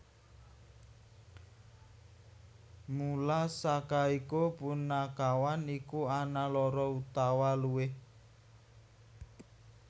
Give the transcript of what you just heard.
Mula saka iku punakawan iku ana loro utawa luwih